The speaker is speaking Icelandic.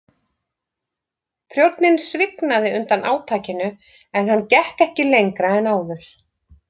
Prjónninn svignaði undan átakinu en hann gekk ekki lengra en áður.